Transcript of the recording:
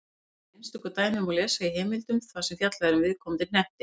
Um þessi einstöku dæmi má lesa í heimildum þar sem fjallað er um viðkomandi hnetti.